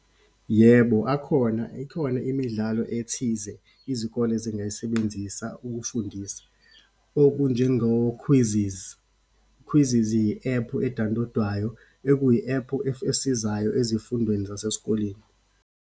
Yebo, akhona, ikhona imidlalo ethize izikole ezingayisebenzisa ukufundisa, okunjengo-quizzes. Quizzes yi-ephu edawunilodwayo, ekuyi-ephu esizayo ezifundweni zasesikoleni.